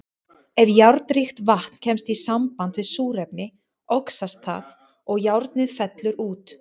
Ef járnríkt vatn kemst í samband við súrefni, oxast það og járnið fellur út.